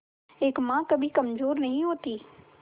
एक मां कभी कमजोर नहीं होती